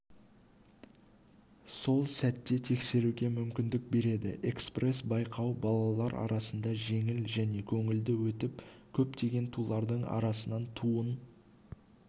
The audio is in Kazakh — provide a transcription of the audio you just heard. сол сәтте тексеруге мүмкіндік береді экспресс-байқау балалар арасында жеңіл және көңілді өтіп көптеген тулардың арасынан туын